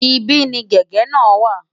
Ibí ni gègé náà wà.